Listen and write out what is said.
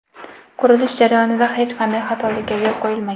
Qurilish jarayonida hech qanday xatolikka yo‘l qo‘yilmagan.